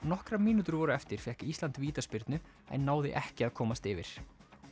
nokkrar mínútur voru eftir fékk Ísland vítaspyrnu en náði ekki að komast yfir